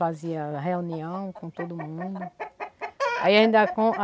Fazia reunião com todo mundo.